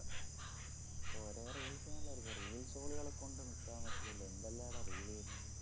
ഓരോ reels നല്ലായിരിക്കും reels ഓളികളെക്കൊണ്ടു നിക്കാൻ പറ്റണില്ലഎന്തെല്ലാമാടാ reel വരുന്നേ